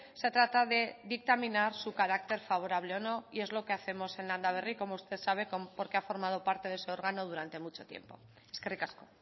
se trata de dictaminar su carácter favorable o no y es lo que hacemos en landaberri como usted sabe porque ha formado parte de ese órgano durante mucho tiempo eskerrik asko